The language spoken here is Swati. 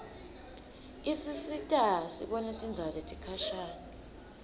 isisita sibone tindzawo letikhashane